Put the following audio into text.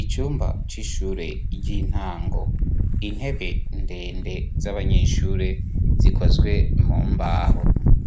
icumba c'ishure ry'intango intebe ndende z'abanyeshure zikozwe mu mbaho